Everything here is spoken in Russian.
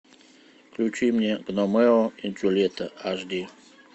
включи мне ромео и джульетта аш ди